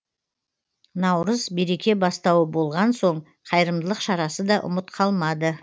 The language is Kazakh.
наурыз береке бастауы болған соң қайырымдылық шарасы да ұмыт қалмады